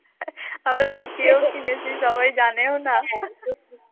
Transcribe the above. আমরা লুকিয়েও কিনেছি সবাই জানেও না